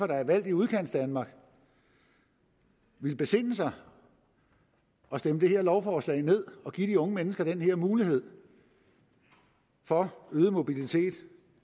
der er valgt i udkantsdanmark vil besinde sig og stemme det her lovforslag ned og give de unge mennesker den her mulighed for øget mobilitet